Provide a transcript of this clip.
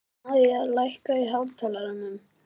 Mæja, lækkaðu í hátalaranum.